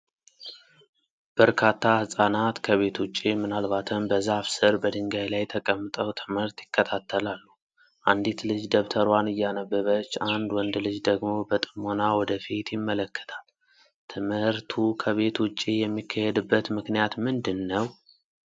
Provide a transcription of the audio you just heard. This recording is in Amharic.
በርካታ ህፃናት ከቤት ውጭ፣ ምናልባትም በዛፍ ስር፣ በድንጋይ ላይ ተቀምጠው ትምህርት ይከታተላሉ። አንዲት ልጅ ደብተሯን እያነበበች፣ አንድ ወንድ ልጅ ደግሞ በጥሞና ወደ ፊት ይመለከታል። ትምህርቱ ከቤት ውጭ የሚካሄድበት ምክንያት ምንድን ነው?